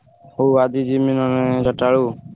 ହଉ ଆଜି ଜିମି ନହେଲେ ଚାରିଟା ବେଳକୁ।